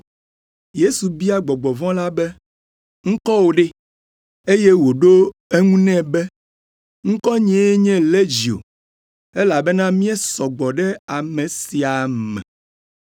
Yesu bia gbɔgbɔ vɔ̃ la be, “Ŋkɔwò ɖe?” Eye wòɖo eŋu nɛ be, “Ŋkɔnyee nye Legio, elabena míesɔ gbɔ ɖe ame sia me.”